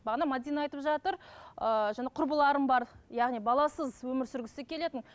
бағана мәдина айтып жатыр ыыы құрбыларым бар яғни баласыз өмір сүргісі келетін